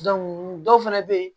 dɔw fɛnɛ be ye